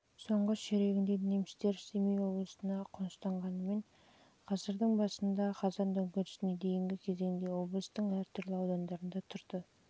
соңғы ширегінде немістер семей облысына аз қоныстанғанымен ғасырдың басында және қазан төңкерісіне дейінгі кезеңде облыстың әр түрлі аудандарында